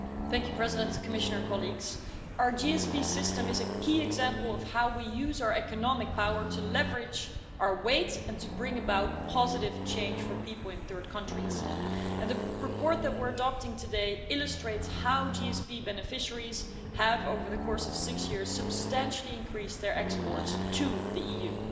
Madam President, our GSP system is a key example of how we use our economic power to leverage our weight and to bring about positive change for people in third countries, and the report that we're adopting today illustrates how GSP beneficiaries have, over the course of six years, substantially increased their exports to the EU.